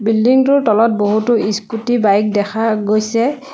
Building টোৰ তলত বহুতো স্কুটী বাইক দেখা গৈছে।